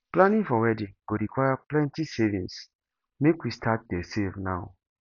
planning for wedding go require plenty savings make we start dey save now